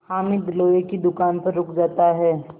हामिद लोहे की दुकान पर रुक जाता है